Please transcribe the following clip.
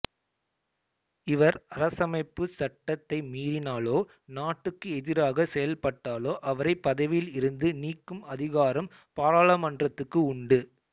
இவர் அரசமைப்புச் சட்டத்தை மீறினாலோ நாட்டுக்கு எதிராக செயல்பட்டாலோ அவரை பதவியில் இருந்து நீக்கும் அதிகாரம் பாராளுமன்றத்துக்கு உண்டு